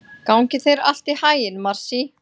Gangi þér allt í haginn, Marsý.